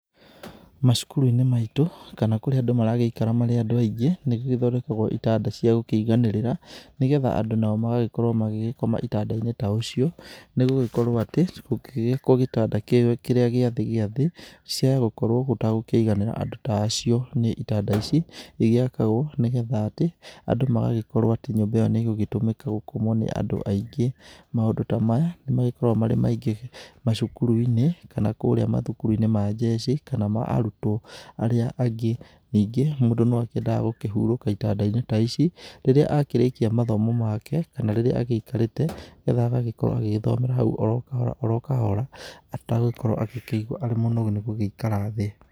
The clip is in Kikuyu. Macukuru-inĩ maitũ kana kũrĩa andũ maragĩikara marĩ andũ aingĩ nĩ gũgĩthondekagwo itanda cia gũkĩiganĩrĩra nĩgetha andũ nao magagĩkorwo magĩgĩkoma itanda-inĩ ta ũcio nĩ gũgĩkorwo atĩ kũgĩgĩkwo gĩtanda kĩrĩa gĩathĩ gĩathĩ ciaya gũkorwo gũtagũkĩiganĩra andũ ta acio nĩ itanda ici gĩgĩakagwo nigetha atĩ magagĩkorwo atĩ nyũmba ĩyo nĩ ĩgũgĩtũmĩka gũkomwo nĩ andũ aingĩ. Maũndũ ta maya nĩ magĩkoragwo marĩ maingĩ macukuru-inĩ kana kũrĩa mathukuru-inĩ ma njeci kana ma arutwo. Arĩa angĩ ningĩ mũndũ no akiendaga gũkĩhurũka itanda-inĩ ta ici rĩrĩa akĩrĩkia mathomo make kana rĩrĩa agĩikarĩte nĩgetha agagĩkorwo agĩthomera hau oro kahora oro kahora atagũgĩkorwo agĩkĩigua arĩ mũnogu nĩgũgĩikara thĩ.